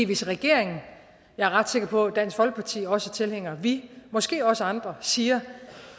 hvis regeringen og jeg er ret sikker på at dansk folkeparti også er tilhænger og vi måske også andre siger